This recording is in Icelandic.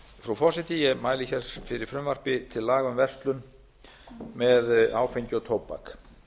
frú forseti ég mæli fyrir frumvarpi til laga um verslun með áfengi og tóbak